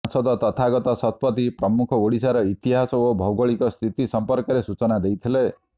ସାଂସଦ ତଥାଗତ ଶତପଥୀ ପ୍ରମୁଖ ଓଡ଼ିଶାର ଇତିହାସ ଓ ଭୌଗୋଳିକ ସ୍ଥିତି ସଂପର୍କରେ ସୂଚନା ଦେଇଥିଲେ